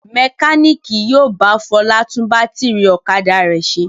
Mẹkáníkì yóò bá Fọlá tún bátírí ọ̀kadà rẹ̀ ṣe.